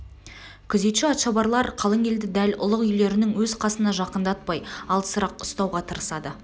күзетші-атшабарлар қалың елді дәл ұлық үйлерінің өз қасына жақындатпай алысырақ ұстауға тырысады